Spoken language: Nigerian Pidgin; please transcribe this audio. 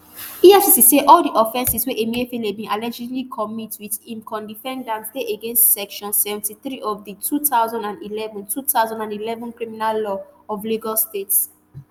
efcc say all di offences wey emefiele bin allegedly commit wit im codefendant dey against section seventy-three of di two thousand and eleven two thousand and eleven criminal law of lagos state